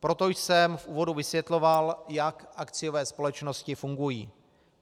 Proto jsem v úvodu vysvětloval, jak akciové společnosti fungují.